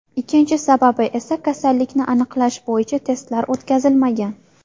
Ikkinchi sababi esa kasallikni aniqlash bo‘yicha testlar o‘tkazilmagan.